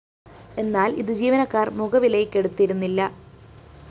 എന്നാല്‍ ഇത് ജീവനക്കാര്‍ മുഖവിലയ്‌ക്കെടുത്തിരുന്നില്ല